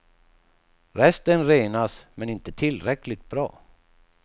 Resten renas, men inte tillräckligt bra.